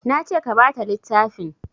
Nace ka bata littafin